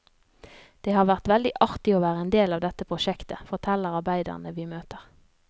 Det har vært veldig artig å være en del av dette prosjektet, forteller arbeiderne vi møter.